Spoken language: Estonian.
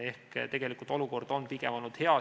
Ehk tegelikult on olukord pigem olnud hea.